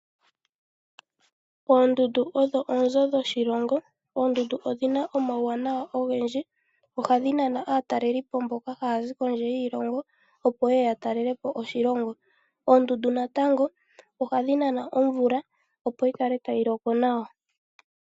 Oondundu odho oonzo dhoshilongo. Oondundu odhina omawuwanawa ogendji, ohadhi nana aatalelipo mboka haya zi kondje yiilongo, opo ye ye ya talelepo oshilongo. Oondundu natango ohadhi nana omvula, opo yi kale tayi loko nawa.